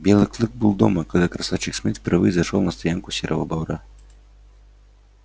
белый клык был дома когда красавчик смит впервые зашёл на стоянку серого бобра